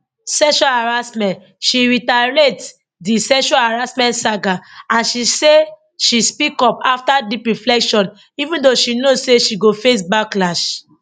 sexual harassment she reiterate di sexual harassment saga and say she speak up afta deep reflection even though she know say she go face backlash